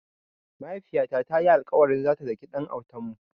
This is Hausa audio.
Mahaifiyata ta yi alƙawarin zata daki ɗan autanmu.